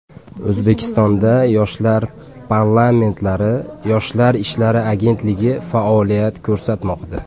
O‘zbekistonda Yoshlar parlamentlari, Yoshlar ishlari agentligi faoliyat ko‘rsatmoqda.